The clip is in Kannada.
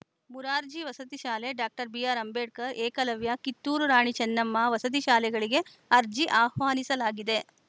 ಮುರಾರ್ಜಿ ವಸತಿ ಶಾಲೆ ಡಾಕ್ಟರ್ ಬಿಆರ್‌ಅಂಬೇಡ್ಕರ್‌ ಏಕಲವ್ಯ ಕಿತ್ತೂರು ರಾಣಿ ಚೆನ್ನಮ್ಮ ವಸತಿ ಶಾಲೆಗಳಿಗೆ ಅರ್ಜಿ ಆಹ್ವಾನಿಸಲಾಗಿದೆ